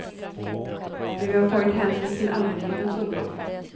Men vi har tagit hänsyn till allmänhetens oro.